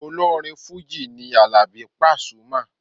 Olórin fújì ni Àlàbí Pasuma.